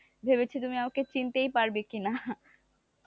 ভেবেছি তুমি আমাকে চিনতেই পারবে কিনা,